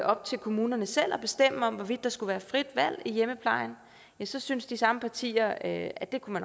op til kommunerne selv at bestemme hvorvidt der skulle være frit valg i hjemmeplejen ja så syntes de samme partier at at det kunne